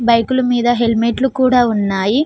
బైకుల మీద హెల్మెట్ లు కూడా ఉన్నాయి.